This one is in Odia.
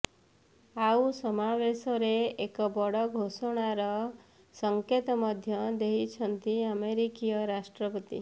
ଆଉ ସମାବେଶରେ ଏକ ବଡ ଘୋଷଣାର ସଙ୍କେତ ମଧ୍ୟ ଦେଇଛନ୍ତି ଆମେରିକୀୟ ରାଷ୍ଟ୍ରପତି